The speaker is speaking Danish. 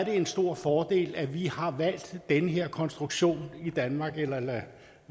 en stor fordel at vi har valgt den her konstruktion i danmark eller lad